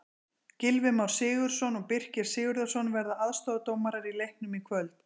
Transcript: Gylfi Már Sigurðsson og Birkir Sigurðarson verða aðstoðardómarar í leiknum í kvöld.